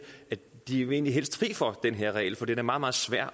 at de egentlig helst er fri for den her regel for den er meget meget svær